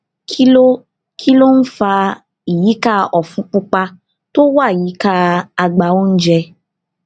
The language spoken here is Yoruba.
kí ló kí ló ń fa ìyíká òfun pupa tó wà yíká àgbá oúnjẹ